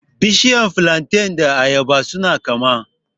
Bishiyar flantain da na ayaba su na kama